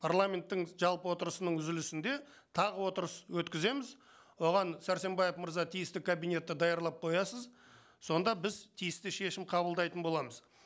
парламенттің жалпы отырысының үзілісінде тағы отырыс өткіземіз оған сәрсенбаев мырза тиісті кабинетті даярлап қоясыз сонда біз тиісті шешім қабылдайтын боламыз